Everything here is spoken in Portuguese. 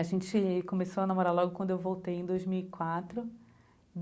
A gente começou a namorar logo quando eu voltei em dois mil e quatro.